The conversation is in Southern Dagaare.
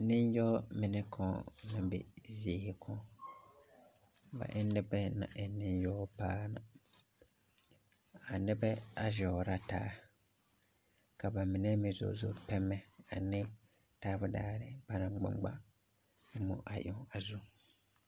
Niŋyao mine kao la be zie kao, ba e na nibɛ naŋ e niŋyao paa na, a nibɛ a zɛoritaa ka ba mine meŋ zozo pɛmɛ ne taabutaari ba naŋ nŋmaa moɔ eŋ a zu.